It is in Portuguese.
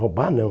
Roubar, não.